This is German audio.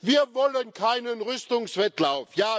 Wir wollen keinen Rüstungswettlauf.